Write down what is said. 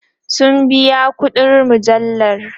sun biya ƙuɗin mujallar